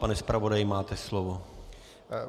Pane zpravodaji, máte slovo.